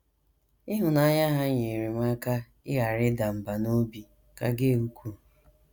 Ịhụnanya ha nyeere m aka ịghara ịda mbà n’obi, ka Gail kwuru.